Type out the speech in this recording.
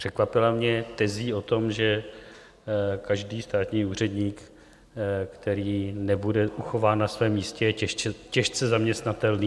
Překvapila mě tezí o tom, že každý státní úředník, který nebude uchován na svém místě, je těžce zaměstnatelný.